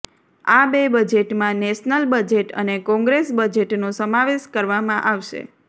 આ બે બજેટમાં નેશનલ બજેટ અને કોંગ્રેસ બજેટનો સમાવેશ કરવામાં આવશે